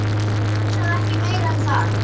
Hugsaðu ekki meira um það.